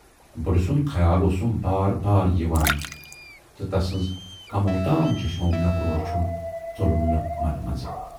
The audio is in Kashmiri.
بُڈٕ سُند خیال اوسُم بار بار یِوان تہٕ تسٕنز کموو تام چشمو مے کُن وُچھُن ژولُم نہٕ منہٕ منزٕ۔